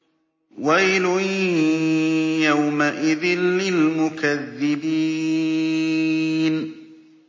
وَيْلٌ يَوْمَئِذٍ لِّلْمُكَذِّبِينَ